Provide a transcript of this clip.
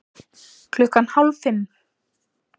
Klukkan hálf fimm